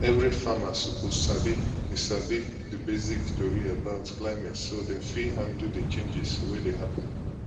every farmer suppose sabi the sabi the basic tori about climate so dem fit handle the changes wey dey happen